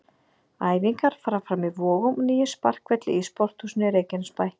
Æfingar fara fram í Vogum og nýjum sparkvelli í Sporthúsinu Reykjanesbæ.